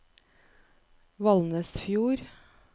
Valnesfjord